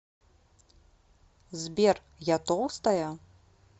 сбер я толстая